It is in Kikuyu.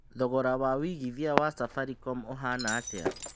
thogora wa wĩigĩthĩa wa safaricom ũhanatĩa